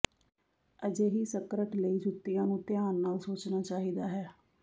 ਅਜਿਹੀ ਸਕਰਟ ਲਈ ਜੁੱਤੀਆਂ ਨੂੰ ਧਿਆਨ ਨਾਲ ਸੋਚਣਾ ਚਾਹੀਦਾ ਹੈ